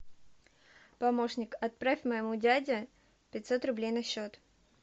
помощник отправь моему дяде пятьсот рублей на счет